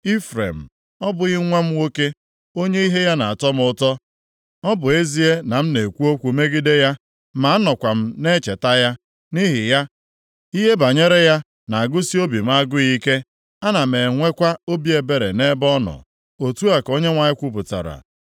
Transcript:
Ifrem, ọ bụghị nwa m nwoke, onye ihe ya na-atọ m ụtọ? Ọ bụ ezie na m na-ekwu okwu megide ya, ma anọkwa m na-echeta ya. Nʼihi ya, ihe banyere ya na-agụsị obi m agụụ ike. Ana m enwekwa obi ebere nʼebe ọ nọ.” Otu a ka Onyenwe anyị kwupụtara.